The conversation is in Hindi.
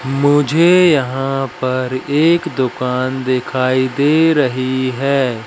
मुझे यहां पर एक दुकान दिखाई दे रही है।